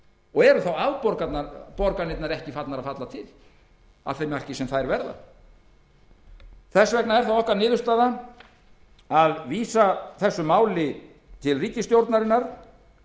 og eru þá afborganirnar ekki farnar að falla til að því marki sem þær verða það er því niðurstaða okkar að vísa þessu máli til ríkisstjórnarinnar